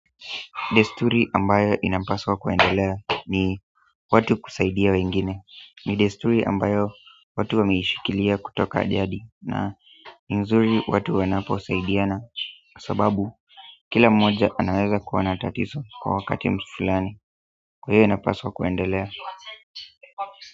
Desturi ambayo inapaswa kuendelea ni watu kusaidia wengine. Ni desturi ambayo watu wameishikilia kutoka jadi na nzuri watu wanapo saidiana. Sababu kila mmoja anaweza kuwa na tatizo kwa wakati fulani kwa hiyo inapaswa kuendelea.